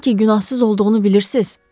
Onun ki günahsız olduğunu bilirsiz?”